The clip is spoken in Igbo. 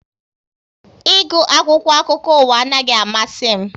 Ị gu akwụkwọ akụkọ ụwa anaghị amasị m